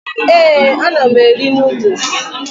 Ee, ana m eri noodles.